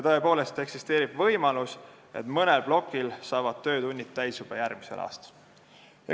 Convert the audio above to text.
Tõepoolest eksisteerib võimalus, et mõnel plokil saavad töötunnid täis juba järgmisel aastal.